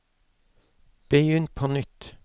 begynn på nytt